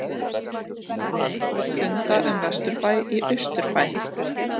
Funda um vesturbæ í austurbæ